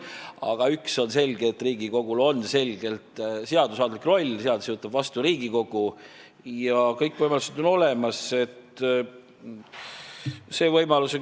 Aga üks on selge, Riigikogul on selgelt seadusandlik roll, seadusi võtab vastu Riigikogu ja kõik võimalused on olemas.